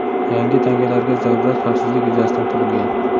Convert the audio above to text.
Yangi tangalarga zarurat xavfsizlik yuzasidan tug‘ilgan.